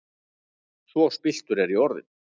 Svo spilltur er ég orðinn!